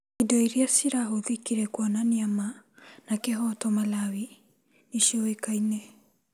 Indo iria cirahũthĩkire kũonania ma na kĩhoto Malawi nĩ ciũĩkaine.